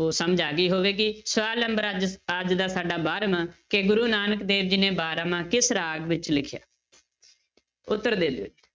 ਉਹ ਸਮਝ ਆ ਗਈ ਹੋਵੇਗੀ, ਸਵਾਲ number ਅੱਜ ਅੱਜ ਦਾ ਸਾਡਾ ਬਾਰਵਾਂ ਕਿ ਗੁਰੂ ਨਾਨਕ ਦੇਵ ਜੀ ਨੇ ਬਾਰਾਂਮਾਂਹ ਕਿਸ ਰਾਗ ਵਿੱਚ ਲਿਖਿਆ ਉੱਤਰ ਦੇ ਦਿਓ